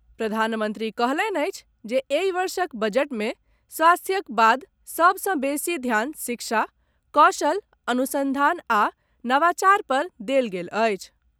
प्रधानमंत्री कहलनि अछि जे एहि वर्षक बजट मे स्वास्थ्यक बाद सभ सॅ बेसी ध्यान शिक्षा, कौशल, अनुसंधान आ नवाचार पर देल गेल अछि।